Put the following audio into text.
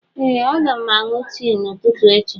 Ee a ga m aṅụ tii ụtụtụ echi.